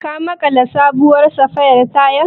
Ka maƙala sabuwar safaya tayar?